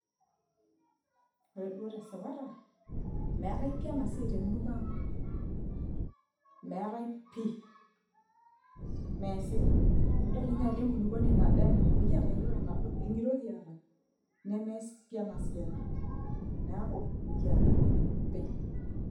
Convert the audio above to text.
Ore duo tesipata, meetai pi enasiai temurua ang'. Meetai pi. Meesi. Idol inye ajo enkulukuoni nado ena. Mikiata yiok enado. Eng'iro kiata. Nemees pi enasiai. Neeku, mikiata pi.